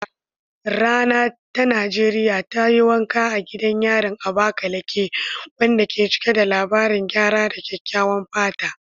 Rana ta Najeriya ta yi wanka a gidan yarin Abakaleke, wanda ke cike da labaran gyara da kyakkyawan fata.